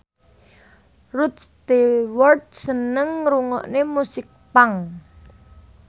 Rod Stewart seneng ngrungokne musik punk